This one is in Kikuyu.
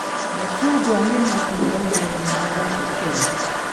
Macungwa nĩ matunda me ngumo gũkũ Kenya